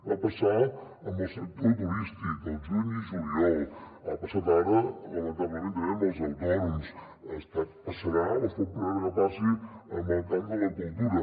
va passar amb el sector turístic al juny i juliol ha passat ara lamentablement també amb els autònoms passarà o es pot preveure que passi en el camp de la cultura